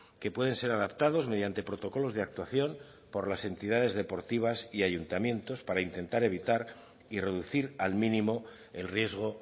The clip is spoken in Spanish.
que pueden ser adaptados mediante protocolos de actuación por las entidades deportivas y ayuntamientos para intentar evitar y reducir al mínimo el riesgo